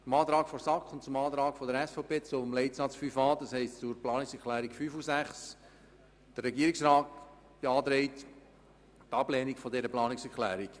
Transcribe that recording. Zu den Planungserklärungen 5 und 6 der SAK beziehungsweise der SVP zu Leitsatz 5a: Der Regierungsrat beantragt Ihnen die Ablehnung dieser Planungserklärungen.